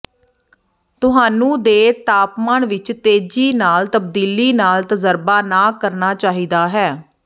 ਤੁਹਾਨੂੰ ਦੇ ਤਾਪਮਾਨ ਵਿੱਚ ਤੇਜ਼ੀ ਨਾਲ ਤਬਦੀਲੀ ਨਾਲ ਤਜਰਬਾ ਨਾ ਕਰਨਾ ਚਾਹੀਦਾ ਹੈ